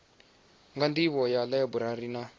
na nḓivho ya ḽaiburari na